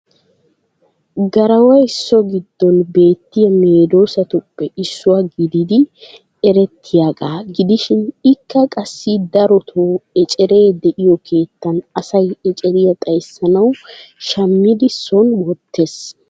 Garaway so giddon beettiya medoosatuppe issuwa gididi erttiyagaa gidishin ikka qassi darotoo eceree de'iyo keettan asay eceriya xayssanawu shammidi sooni wottees.